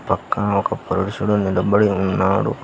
పక్కన ఒక పురుషుడు నిలబడి ఉన్నాడు.